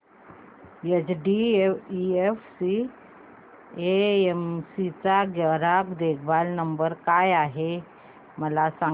HDFC AMC चा ग्राहक देखभाल नंबर काय आहे मला सांग